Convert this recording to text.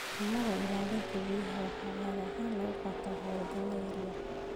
Dhaqannada ilaalinta biyaha waxaa caadi ahaan lagu qaataa hawlgalo yaryar.